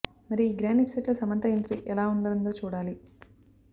మరి ఈ grand episode లో సమంతా ఎంట్రీ ఎలా ఉండనుందో చూడాలి